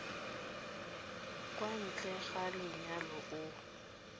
kwa ntle ga lenyalo o